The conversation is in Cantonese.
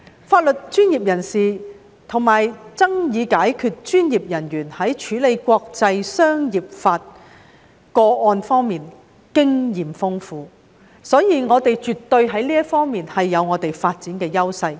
法律專業人士及爭議解決專業人員在處理國際商業法個案方面經驗豐富，所以我們在這方面絕對有發展的優勢。